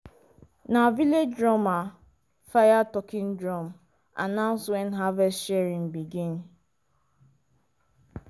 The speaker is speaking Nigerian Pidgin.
na village drummer fire talking drum announce when harvest sharing begin.